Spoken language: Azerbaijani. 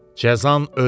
Cəzan ölümdür.